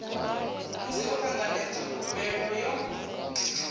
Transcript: musi ho tanganedzwa khumbelo yo